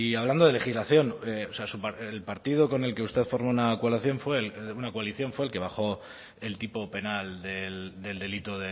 hablando de legislación o sea el partido con el que usted forma una coalición fue el bajó el tipo penal del delito